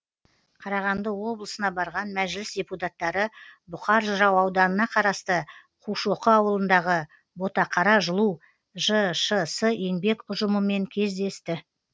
қарағанды облысына барған мәжіліс депутаттары бұқар жырау ауданына қарасты қушоқы ауылындағы ботақара жылу жшс еңбек ұжымымен кездесті